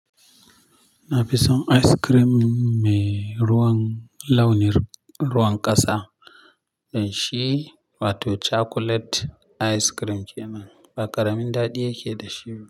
Na fi son ice cream mai ruwan launin ruwan ƙasa, don shi wato chocolate ice cream kenan, ba ƙaramin daɗi yake da shi.